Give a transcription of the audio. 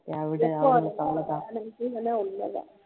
விடு அவ்ளோதான்